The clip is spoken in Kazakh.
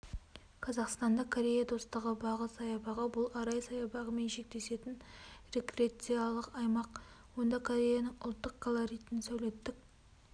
қазақстан корея достығы бағы саябағы бұл арай саябағымен шектесетін рекрециялық аймақ онда кореяның ұлттық колоритін сәулеттік